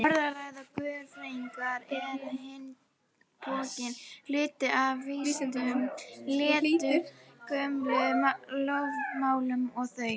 Orðræða guðfræðinnar er á hinn bóginn hluti af vísindunum og lýtur sömu lögmálum og þau.